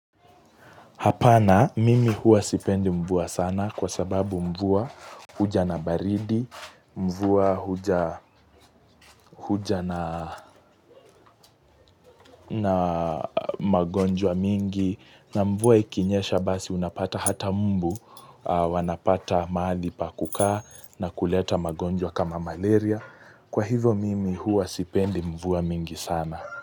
Hapana mimi huwa sipendi mvua sana kwa sababu mvua huja na baridi, mvua huja na magonjwa mingi, na mvua ikinyesha basi unapata hata mmbu wanapata maali pa kukaa na kuleta magonjwa kama malaria. Kwa hivyo mimi huwa sipendi mvua mingi sana.